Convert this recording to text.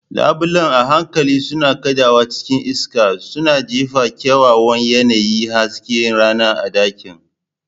Labulen a hankali suna kaɗawa cikin iska, suna jefa kyawawan yanayin hasken rana a ɗakin.